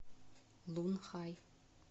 лунхай